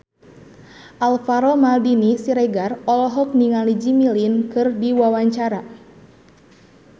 Alvaro Maldini Siregar olohok ningali Jimmy Lin keur diwawancara